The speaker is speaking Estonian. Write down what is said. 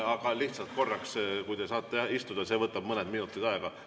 Aga lihtsalt korraks, kui te saate istuda, see võtab mõned minutid aega.